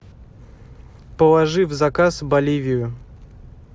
положи в заказ боливию